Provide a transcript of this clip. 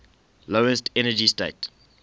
lowest energy state